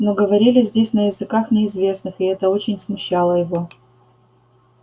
но говорили здесь на языках неизвестных и это очень смущало его